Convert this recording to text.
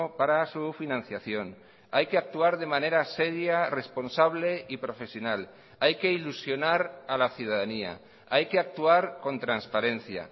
para su financiación hay que actuar de manera seria responsable y profesional hay que ilusionar a la ciudadanía hay que actuar con transparencia